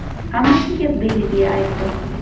Hammasiga Belgiya “aybdor”.